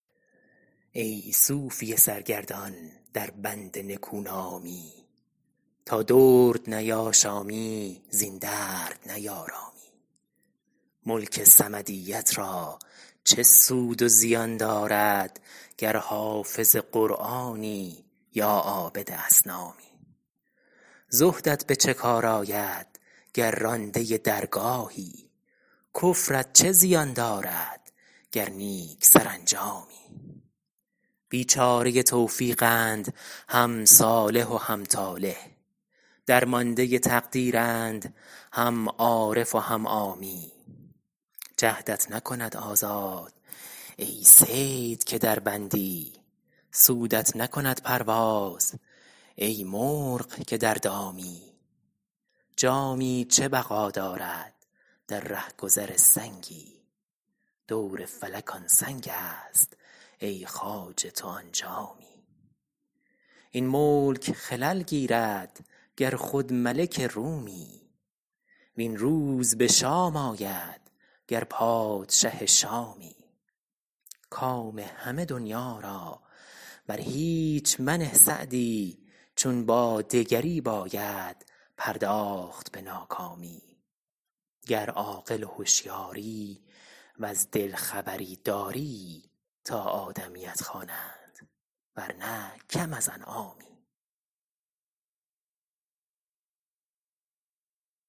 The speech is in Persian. ای صوفی سرگردان در بند نکونامی تا درد نیاشامی زین درد نیارامی ملک صمدیت را چه سود و زیان دارد گر حافظ قرآنی یا عابد اصنامی زهدت به چه کار آید گر رانده درگاهی کفرت چه زیان دارد گر نیک سرانجامی بیچاره توفیقند هم صالح و هم طالح درمانده تقدیرند هم عارف و هم عامی جهدت نکند آزاد ای صید که در بندی سودت نکند پرواز ای مرغ که در دامی جامی چه بقا دارد در رهگذر سنگی دور فلک آن سنگ است ای خواجه تو آن جامی این ملک خلل گیرد گر خود ملک رومی وین روز به شام آید گر پادشه شامی کام همه دنیا را بر هیچ منه سعدی چون با دگری باید پرداخت به ناکامی گر عاقل و هشیاری وز دل خبری داری تا آدمیت خوانند ورنه کم از انعامی